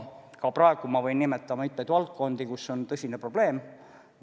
Ka praegu ma võin nimetada mitmeid valdkondi, kus on tõsine probleem.